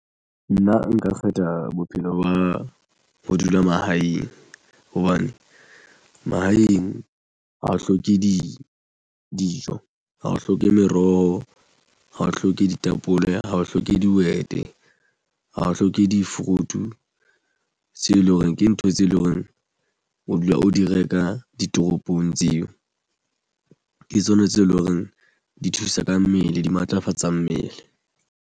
Nna nka kgetha bophelo ba ho dula mahaeng hobane mahaeng ha o hloke dijo ha o hloke meroho ha o hloke ditapole ha o hloke dihwete ha o hloke di-fruit-u tseo e leng hore ke ntho tse leng hore o dula o di reka ditoropong tseo ke tsona tseo e leng hore di thusa ka mmele di matlafatsa mmele.